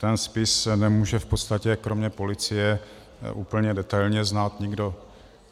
Ten spis nemůže v podstatě kromě policie úplně detailně znát nikdo.